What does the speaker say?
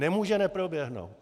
Nemůže neproběhnout.